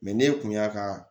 ne kun y'a ka